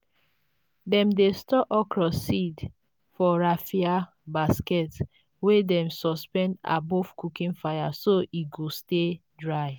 dem dey store okra seeds for raffia baskets wey dem suspend above cooking fire so e go stay dry.